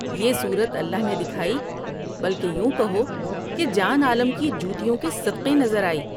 یہ صورت اللہ نے دکھائی بلکہ یوں کہو کہ جان عالم کی جوتیوں کے صدقے نظر آئی ۔